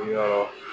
Yɔrɔ